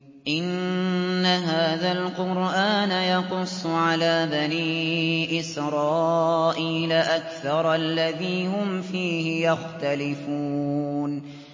إِنَّ هَٰذَا الْقُرْآنَ يَقُصُّ عَلَىٰ بَنِي إِسْرَائِيلَ أَكْثَرَ الَّذِي هُمْ فِيهِ يَخْتَلِفُونَ